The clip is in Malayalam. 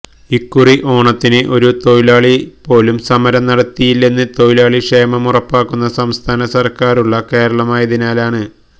ഇക്കുറി ഓണത്തിന് ഒരു തൊഴിലാളിപോലും സമരം നടത്തിയില്ലെന്ന് തൊഴിലാളി ക്ഷേമമുറപ്പാക്കുന്ന സംസ്ഥാന സർക്കാരുള്ള കേരളമായതിനാലാണ്